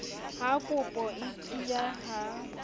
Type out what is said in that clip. ha ropo e tiya ha